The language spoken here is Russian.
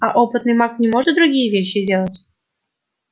а опытный маг не может другие вещи делать